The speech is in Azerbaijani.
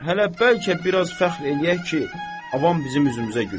Hələ bəlkə biraz fəxr eləyək ki, avam bizim üzümüzə gülür.